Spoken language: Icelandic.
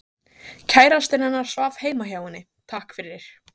Kærastinn hennar svaf heima hjá henni, takk fyrir